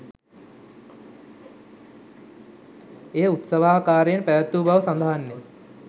එය උත්සවාකාරයෙන් පැවත්වූ බව සඳහන් ය